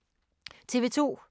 TV 2